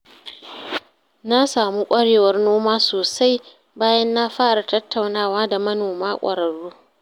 Na samu ƙwarewar noma sosai bayan na fara tattaunawa da manoma ƙwararru.